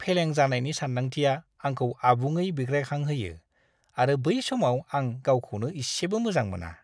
फेलें जानायनि सान्दांथिया आंखौ आबुङै बिग्रायखांहोयो आरो बै समाव आं गावखौनो इसेबो मोजां मोना!